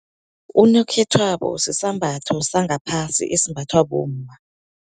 Unokhethwabo sisambatho sangaphasi, esimbathwa bomma.